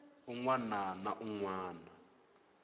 un wana na un wana